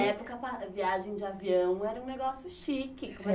E, nessa época, a viagem de avião era um negócio chique.